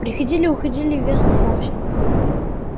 приходили и уходили весны и осени